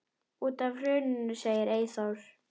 Út af hruninu segir Eyþór.